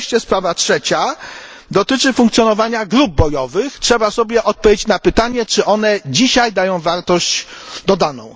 I wreszcie sprawa trzecia dotyczy funkcjonowania grup bojowych trzeba sobie odpowiedzieć na pytanie, czy dają one dzisiaj wartość dodaną.